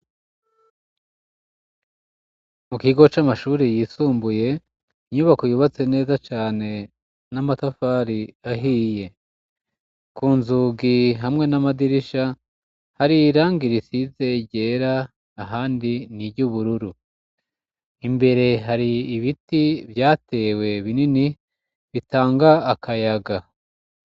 Mu gigo c'amashuri yisumbuye inyubako yubatse neza cane n'amatafari ahiye ku nzugi hamwe n'amadirisha hariyirangira isize ryera ahandi ni iryo ubururu imbere hari ibitio yatewe binini bitanga akayaga.